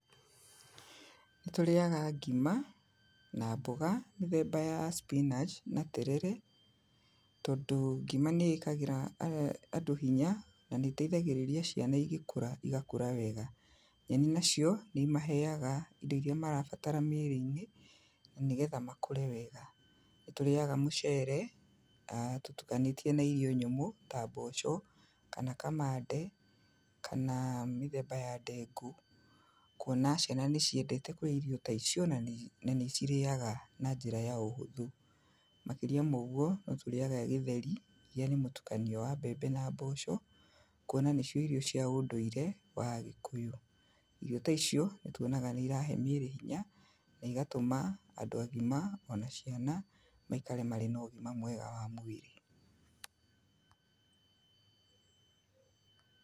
Nĩ tũrĩaga ngima, na mboga, mĩthemba ya spinach, na terere, tondũ ngima nĩ ĩkagĩra andũ hinya, na nĩ ĩteithagĩrĩria ciana igĩkũra, igakũra wega. Nyeni nacio, nĩ imaheyaga indo iria marabatara mĩrĩ-inĩ, na nĩgetha makũre wega. Nĩ tũrĩaga mũcere, tũtukanĩtie na irio nyũmũ, ta mboco, kana kamande, kana mĩthemba ya ndengũ, kuona ciana nĩ ciendete kũrĩa irio taicio na na nĩ cirĩaga na njĩra ya ũhũthũ. Makĩria ma oguo, no tũrĩaga gĩtheri, iria nĩ mũtukanio wa mbembe na mboco, kuona nĩcio irio cia ũndũirĩ wa agĩkũyũ. Irio taicio, nĩ tuonaga nĩ irahe mĩrĩ hinya, na igatũma andũ agima, ona ciana, maikare marĩ na ũgima mwega wa mwĩrĩ.